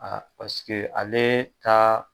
paseke ale ka